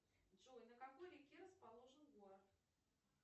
джой на какой реке расположен город